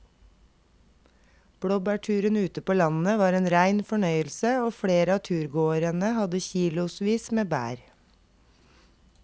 Blåbærturen ute på landet var en rein fornøyelse og flere av turgåerene hadde kilosvis med bær.